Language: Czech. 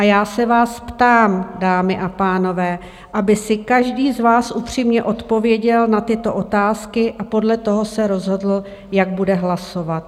A já se vás ptám, dámy a pánové, aby si každý z vás upřímně odpověděl na tyto otázky a podle toho se rozhodl, jak bude hlasovat.